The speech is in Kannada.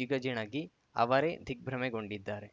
ಜಿಗಜಿಣಗಿ ಅವರೇ ದಿಗ್ಭ್ರಮೆಗೊಂಡಿದ್ದಾರೆ